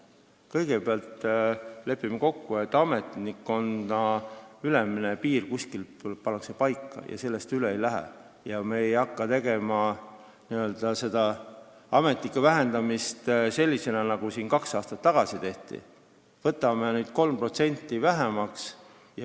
Kõigepealt lepime kokku, et ametnikkonna ülemine piir pannakse kuskil paika ja sellest üle ei minda, ja me ei hakka n-ö ametnikke vähendama selliselt, nagu kaks aastat tagasi tehti, kui võeti 3% vähemaks.